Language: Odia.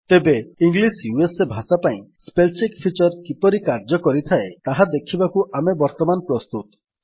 ତେବେ ଇଂଲିଶ ୟୁଏସଏ ଭାଷା ପାଇଁ ସ୍ପେଲ୍ ଚେକ୍ ଫିଚର୍ କିପରି କାର୍ଯ୍ୟ କରିଥାଏ ତାହା ଦେଖିବାକୁ ଆମେ ବର୍ତ୍ତମାନ ପ୍ରସ୍ତୁତ